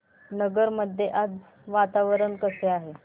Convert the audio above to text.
नगर मध्ये आज वातावरण कसे आहे